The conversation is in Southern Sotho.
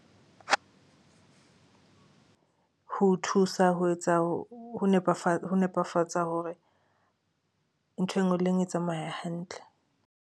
Ho thusa ho etsa ho nepefatsa hore ntho engwe le engwe e tsamaye hantle.